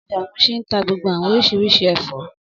Ọjà Muṣin ń tá gbogbo àwọn oríṣiríṣi ẹ̀fọ́